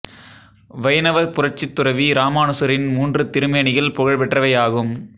வைணவப் புரட்சித் துறவி இராமானுசரின் மூன்று திருமேனிகள் புகழ் பெற்றவை ஆகும்